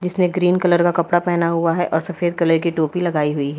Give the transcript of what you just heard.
उसने green colour का कपड़ा पहना हुआ है और सफेद कलर की टोपी लगाई हुई है।